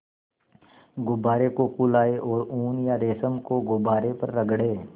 गुब्बारे को फुलाएँ और ऊन या रेशम को गुब्बारे पर रगड़ें